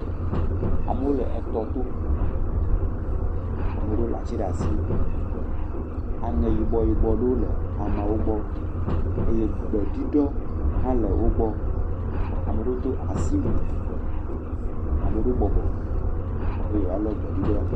Amewo le etɔ tɔ. Ame ɖewo le ati ɖe asi. Aŋɛ yibɔ, yibo ɖewo le ameawo gbɔ eye gbe ɖudɔ hã le wogbɔ. Ame aɖewo do asiwuie, ame ɖewo bɔbɔ be yewoa lɔ gbe ɖuɖɔ.